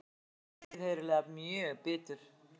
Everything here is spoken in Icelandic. Hemmi er auðheyrilega mjög bitur.